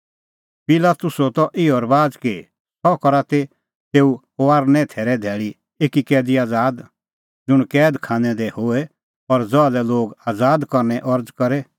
पिलातुसो त इहअ रबाज़ कि सह करा त तेऊ फसहे थैरे धैल़ी एकी कैदी आज़ाद ज़ुंण कैद खानै दी होए और ज़हा लै लोग आज़ाद करने अरज़ करे